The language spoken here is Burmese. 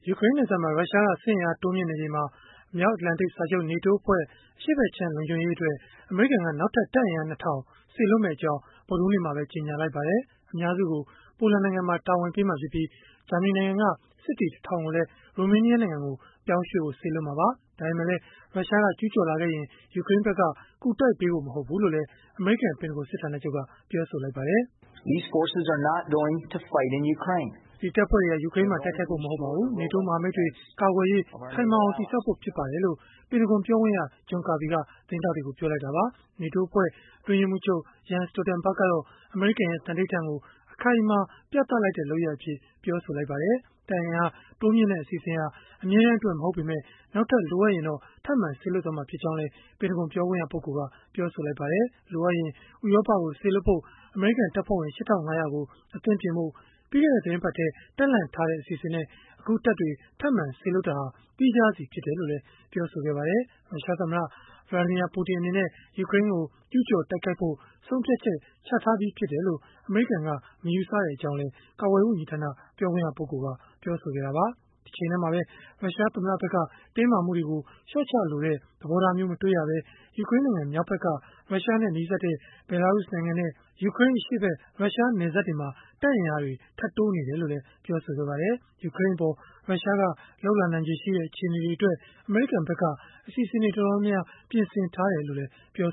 ူကရိန်းနယ်စပ်မှာ ရုရှားက စစ်အင်အားတိုးမြှင့်နေချိန်မှာ မြောက်အတ္တလန်တိတ်စာချုပ် (NATO) အဖွဲ့ အရှေ့ဖက်ခြမ်း လုံခြုံရေးအတွက် အမေရိကန်က နောက်ထပ် တပ်အင်အား ၂ဝဝဝ စေလွှတ်မယ့်အကြောင်း ဗုဒ္ဓဟူးနေ့မှာပဲ ကြေညာလိုက်ပါတယ်။ အများစုကို ပိုလန်နိုင်ငံမှာ တာဝန်ပေးမှာဖြစ်ပြီး၊ ဂျာမနီနိုင်ငံက စစ်သည် ၁ဝဝဝ ကိုလည်း ရိုမေးနီးယားနိုင်ငံကို ပြောင်းရွှေ့ဖို့ စေလွှတ်မှာပါ။ ဒါပေမဲ့လည်း ရုရှားက ကျုးကျော်လာခဲ့ရင် ယူကရိန်းဖက်က ကူတိုက်ဖို့ မဟုတ်ဘူးလို့လည်း အမေရိကန် ပင်တဂွန်စစ်ဌာနချုပ်က ပြောပါတယ်။ “ဒီတပ်ဖွဲ့တွေဟာ ယူကရိန်းမှာ တိုက်ခိုက်ဖို့ မဟုတ်ပါဘူး။ NATO မဟာမိတ်တွေ ကာကွယ်ရေး ခိုင်မာအောင် တည်ဆောက်ဖို့ ဖြစ်ပါတယ်။” လို့ ပင်တဂွန် ပြောခွင့်ရ John Kirby သတင်းထောက်တွေကို ပြောလိုက်တာပါ။ တပ်အင်အား တိုးမြှင့်တဲ့ အစီအစဉ်ဟာ အမြဲတမ်းအတွက် မဟုတ်ပေမဲ့ နောက်ထပ် လိုအပ်ရင်တော့ ထပ်မံစေလွှတ်မှာ ဖြစ်ကြောင်းလည်း ပြောပါတယ်။ လိုအပ်ရင် ဥရောပကို စေလွှတ်ဖို့ အမေရိကန် တပ်ဖွဲ့ဝင် ၈၅ဝဝ ကို အသင့်ပြင်ဖို့ ပြီးခဲ့တဲ့ သီတင်းပတ်ထဲ တပ်လှန့်ထားတဲ့ အစီအစဉ်နဲ့ အခုတပ်တွေ ထပ်မံစေလွှတ်တာဟာ သီးခြားစီ ဖြစ်တယ်လို့လည်း ပြောပါတယ်။ ရုရှားသမ္မတ Vladimir Putin အနေနဲ့ ယူကရိန်းကို ကျုးကျော်တိုက်ခိုက်ဖို့ ဆုံးဖြတ်ချက် ချထားပြီးဖြစ်တယ်လို့ အမေရိကန်က မယူဆကြောင်းလည်း ကာကွယ်ရေးဝန်ကြီးဌာန ပြောခွင့်ရက ပြောဆိုခဲ့တာပါ။ တချိန်တည်းမှာပဲ ရုရှားသမ္မတဖက်က တင်းမာမှုတွေကို လျှော့ချလိုတဲ့ သဘောထားမျိုး မတွေ့ရဘဲ ယူကရိန်းနိုင်ငံ မြောက်ဖက်က ရုရှားနဲ့ နီးစပ်တဲ့ ဘဲလာရုစ်နိုင်ငံနဲ့ ယူကရိန်းအရှေ့ဖက် ရုရှားနယ်စပ်တွေမှာ တပ်အင်အားတွေ ထပ်တိုးနေတယ်လို့လည်း ပြောပါတယ်။ ယူကရိန်းအပေါ် ရုရှားက လုပ်နိုင်ခြေရှိတဲ့ အခြေအနေတွေအတွက် အမေရိကန်ဖက်က အစီအစဉ်တွေ တော်တော်များများ ပြင်ဆင်ထားတယ်လို့လည်း ပြော